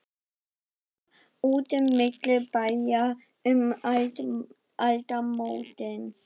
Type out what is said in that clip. Verða úti milli bæja um aldamótin?